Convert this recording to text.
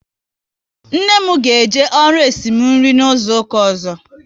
Nne m ga eje ọrụ esimu nri n'izuka ọzọ